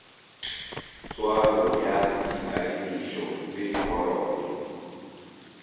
tswalo ya dikadimišo le dikoloto